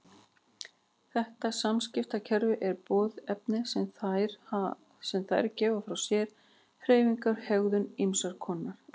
Þetta samskiptakerfi eru boðefni sem þær gefa frá sér, hreyfingar og hegðun ýmiss konar.